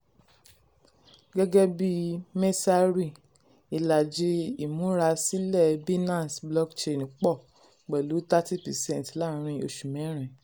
gẹ́gẹ́ bí messari ìlàjì ìmúrasílẹ̀ binance blockchain pọ̀ pẹ̀lú thirty percent láàárín oṣù mẹ́rin.